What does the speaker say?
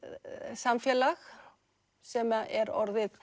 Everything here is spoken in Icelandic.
samfélag sem er